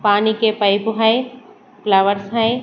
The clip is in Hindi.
पानी के पाइप में फ्लावर्स है।